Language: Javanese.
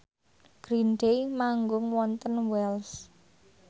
Green Day manggung wonten Wells